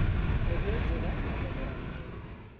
Mbegu njega na thogora mwega.